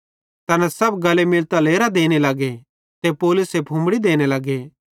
तैना सब गले मिलतां लेरां देने लगे ते पौलुसे फुम्मड़ी देने लगे